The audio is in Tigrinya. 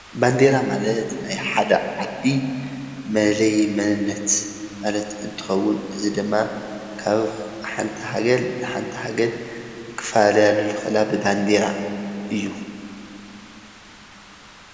ባንዴራ ማለት ናይ ሓደ ዓዲ መለለዩ መንነት እንትኸውን እዚ ድማ ካብ ሓንቲ ሃገር ናብ ሓንቲ ሃገር ክፈላለያሉ ዝኽእላ ብባንዴራ እዩ፡፡